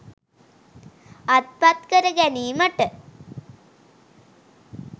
අත්පත් කර ගැනීමට